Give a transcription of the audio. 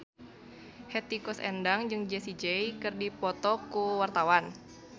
Hetty Koes Endang jeung Jessie J keur dipoto ku wartawan